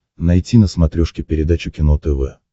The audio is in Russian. найти на смотрешке передачу кино тв